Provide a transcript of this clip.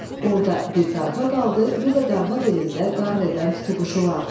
Orda bir qarğa qaldı, bir də qarğa dilində qarr edən tutuquşular.